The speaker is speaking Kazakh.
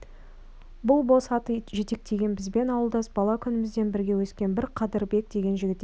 бұл бос ат жетектеген бізбен ауылдас бала күнімізден бірге өскен бір қадырбек деген жігіт екен